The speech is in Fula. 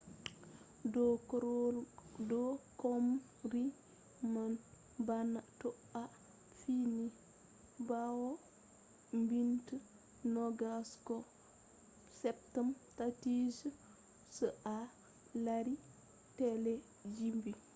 do chomri man bana to a fini bawo mintiji nogas ko ceppan tati se a lari telebijin